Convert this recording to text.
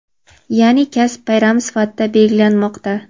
yaʼni kasb bayrami sifatida belgilanmoqda.